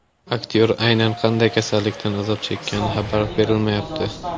Aktyor aynan qanday kasallikdan azob chekkani xabar berilmayapti.